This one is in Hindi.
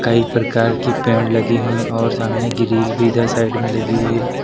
कई प्रकार की पेड़ लगी हुई और सामने ग्रिल भी इधर साइड में लगी हुई है।